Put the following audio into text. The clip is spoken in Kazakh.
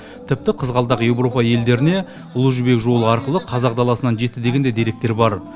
тіпті қызғалдақ еуропа елдеріне ұлы жібек жолы арқылы қазақ даласынан жетті деген де деректер бар